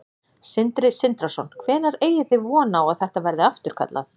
Sindri Sindrason: Hvenær eigið þið þá von á að þetta verði afturkallað?